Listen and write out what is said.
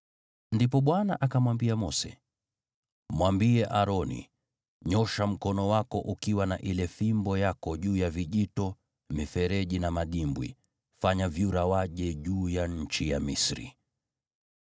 Ndipo Bwana akamwambia Mose, “Mwambie Aroni, ‘Nyoosha mkono wako ukiwa na ile fimbo yako juu ya vijito, mifereji na madimbwi, fanya vyura waje juu ya nchi ya Misri.’ ”